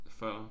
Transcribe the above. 40